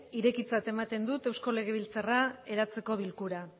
irekitzat ematen dut eusko legebiltzarra eratzeko bilkura